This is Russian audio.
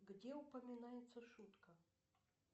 где упоминается шутка